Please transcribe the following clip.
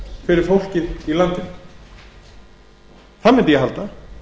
fyrir fólkið í landinu það mundi ég halda